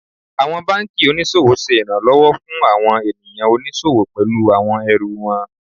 Àwọn banki oníṣòwò ṣe ìrànlọ́wọ́ fún àwọn ènìyàn oníṣòwò pẹlú àwọn ẹrù wọn.